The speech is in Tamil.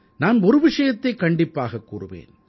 நான் ஒரு விஷயத்தைக் கண்டிப்பாக கூறுவேன்